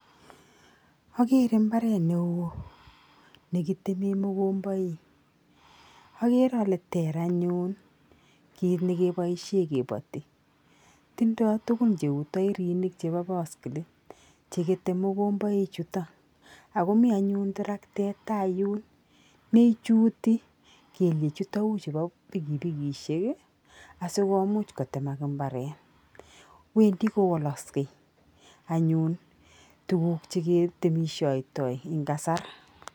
Akere mbartet neo nekitemee mokombaik. Akere ale ter anyun kit nikebaishe kebati. Tindoi tukun cheu tairinik chepo baskilit chekete mokomboichuto, akomi anyun toroktet nemi tai yun neichuti kelyechutok u chepo pikipikishek asikomuch kotemak mbaret. Wendi kowoloksei anyun tuguk cheketemeshoitoi eng' kasar.